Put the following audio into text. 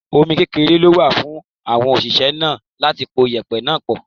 omi kékeré ló wà fún àwọn òṣìṣẹ́ náà láti po yẹ̀pẹ̀ náà pọ̀.